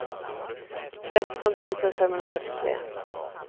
tretton tusen femhundrafyrtiotre